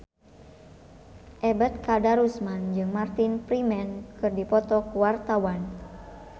Ebet Kadarusman jeung Martin Freeman keur dipoto ku wartawan